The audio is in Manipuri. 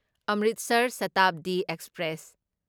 ꯑꯃ꯭ꯔꯤꯠꯁꯔ ꯁꯥꯇꯥꯕꯗꯤ ꯑꯦꯛꯁꯄ꯭ꯔꯦꯁ